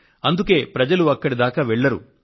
అందుకే ప్రజలు ఇక్కడిదాకా వెళ్లరు